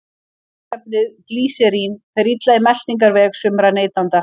Mýkingarefnið glýserín fer illa í meltingarveg sumra neytenda.